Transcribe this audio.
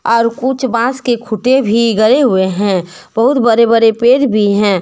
और कुछ बॉस के खूंटे भी गड़े हुए हैं बहुत बड़े बड़े पेड़ भी हैं।